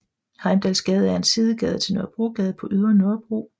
Heimdalsgade er en sidegade til Nørrebrogade på Ydre Nørrebro